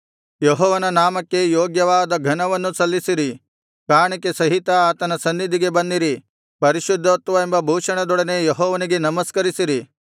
ಯೆಹೋವನ ನಾಮಕ್ಕೆ ಯೋಗ್ಯವಾದ ಘನವನ್ನು ಸಲ್ಲಿಸಿರಿ ಕಾಣಿಕೆ ಸಹಿತ ಆತನ ಸನ್ನಿಧಿಗೆ ಬನ್ನಿರಿ ಪರಿಶುದ್ಧತ್ವವೆಂಬ ಭೂಷಣದೊಡನೆ ಯೆಹೋವನಿಗೆ ನಮಸ್ಕರಿಸಿರಿ